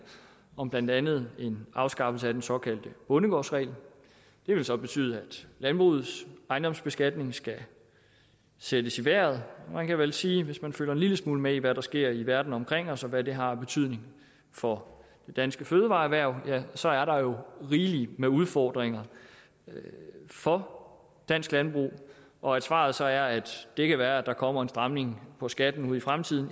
om blandt andet en afskaffelse af den såkaldte bondegårdsregel det vil så betyde at landbrugets ejendomsbeskatning skal sættes i vejret og man kan vel sige at hvis man følger en lille smule med i hvad der sker i verden omkring os og hvad det har af betydning for det danske fødevareerhverv kan at så er der jo rigelig med udfordringer for dansk landbrug og at svaret så er at det kan være at der kommer en stramning på skatten ud i fremtiden